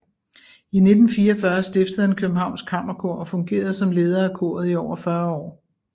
I 1944 stiftede han Københavns Kammerkor og fungerede som leder af koret i over 40 år